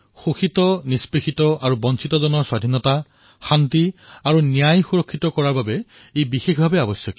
শোষিত পীড়িত আৰু বঞ্চিতসকলৰ স্বতন্ত্ৰতা শান্তি আৰু তেওঁলোকক ন্যায় সুনিশ্চিত কৰোৱাৰ বাবে এয়া বিশেষৰূপে অনিবাৰ্য